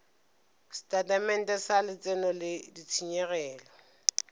setatamente sa letseno le ditshenyegelo